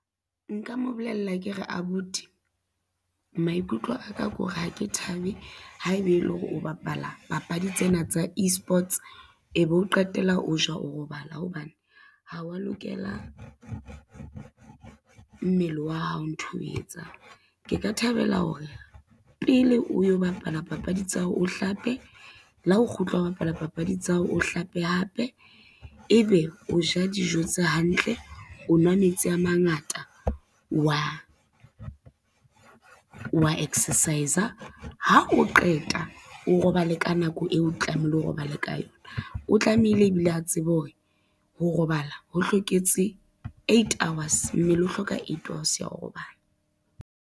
Nka mo bolella ke re abuti, maikutlo aka ko re ha ke thabe ha ebe ele hore o bapala papadi tsena tsa e-sports e be o qetella o ja o robala hobane, ha wa lokela mmele wa hao ntho e etsang. Ke ka thabela hore pele o yo bapala papadi tsa hao o hlape le ha o kgutla ho bapala papadi tsa hao, o hlape hape ebe o ja dijo tse hantle, o nwa metsi a mangata, wa exercise-a, ha o qeta o robale ka nako eo o tlamehile o robale ka yona. O tlamehile ebile a tsebe hore, ho robala ho hloketse eight hours, mmele o hloka eight hours ya ho robala.